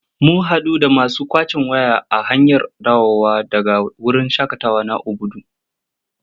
Mun haɗu da masu ƙwacen waya a hanyar dawowa daga wurin shaƙatawa na Obudu.